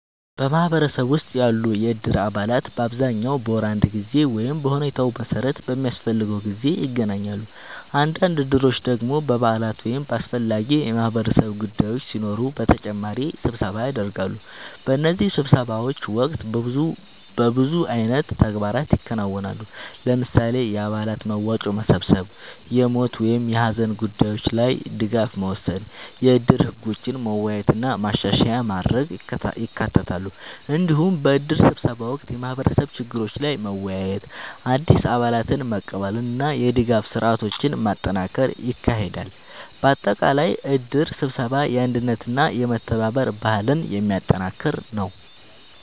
በማህበረሰብ ውስጥ ያሉ የእድር አባላት በአብዛኛው በወር አንድ ጊዜ ወይም በሁኔታው መሠረት በሚያስፈልገው ጊዜ ይገናኛሉ። አንዳንድ እድሮች ደግሞ በበዓላት ወይም በአስፈላጊ የማህበረሰብ ጉዳዮች ሲኖሩ በተጨማሪ ስብሰባ ያደርጋሉ። በእነዚህ ስብሰባዎች ወቅት በብዙ አይነት ተግባራት ይከናወናሉ። ለምሳሌ፣ የአባላት መዋጮ መሰብሰብ፣ የሞት ወይም የሀዘን ጉዳዮች ላይ ድጋፍ መወሰን፣ የእድር ህጎችን መወያየት እና ማሻሻያ ማድረግ ይካተታሉ። እንዲሁም በእድር ስብሰባ ወቅት የማህበረሰብ ችግሮች ላይ መወያየት፣ አዲስ አባላትን መቀበል እና የድጋፍ ስርዓቶችን ማጠናከር ይካሄዳል። በአጠቃላይ እድር ስብሰባ የአንድነትና የመተባበር ባህልን የሚያጠናክር ነው።